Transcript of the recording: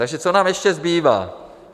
Takže co nám ještě zbývá?